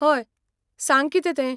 हय, सांग कितें तें?